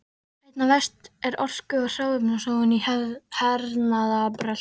Einna verst er orku- og hráefnasóun í hernaðarbrölti.